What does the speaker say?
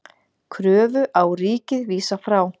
Kröfu á ríkið vísað frá